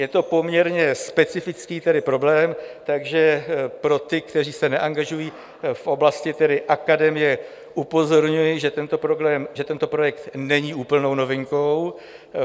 Je to poměrně specifický problém, takže pro ty, kteří se neangažují v oblasti akademie, upozorňuji, že tento projekt není úplnou novinkou.